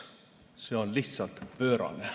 See on lihtsalt pöörane.